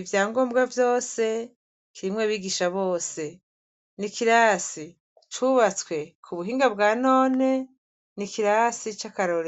ivyangombwa vyose, kirimw' abigisha bose, n' ikirasi c' ubatswe kubuhinga bwa none n' ikirasi ca karorero.